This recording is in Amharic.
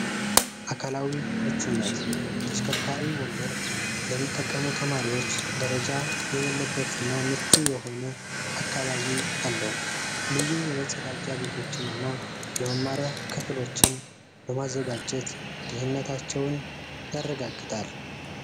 አካላዊ ምቹነት ተሽከርካሪ ወንበር ለሚጠቀሙ ተማሪዎች ደረጃ የሌለበት እና ምቹ የሆነ አካባቢ አለው። ልዩ የመጸዳጃ ቤቶችንና የመመርያ ክፍሎችን በማዘጋጀት ደህንነታቸውን ያረጋግጣል።